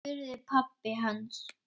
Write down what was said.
spurði pabbi hans.